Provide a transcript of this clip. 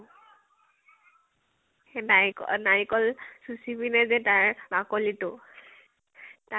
সেই নাৰি নাৰিকল চুচি পিনে যে, তাৰ বাকলি তো, তাত